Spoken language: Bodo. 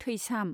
थैसाम